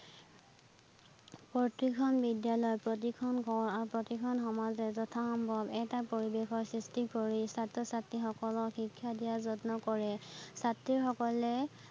প্ৰতিখন বিদ্যালয় প্ৰতিখন প্ৰতিখন সমাজে যথাসম্ভব এটা পৰিবেশৰ সৃষ্টি কৰি ছাত্ৰ - ছাত্ৰীসকলক শিক্ষা দিয়াৰ যত্ন কৰে, ছাত্ৰীসকলে